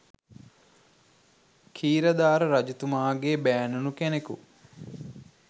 ඛීරධාර රජතුමාගේ බෑණනු කෙනෙකු